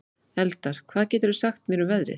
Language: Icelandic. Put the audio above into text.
Eldar, hvað geturðu sagt mér um veðrið?